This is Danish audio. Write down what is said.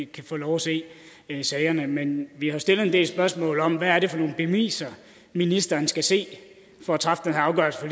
kan få lov at se sagerne men vi har jo stillet en del spørgsmål om hvad det er for nogle beviser ministeren skal se for at træffe den her afgørelse